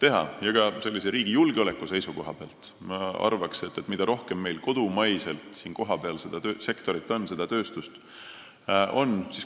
Aga ma arvan, et riigi julgeoleku seisukohast on nii, et mida rohkem on meil kohapeal seda sektorit, kodumaist tööstust, seda parem.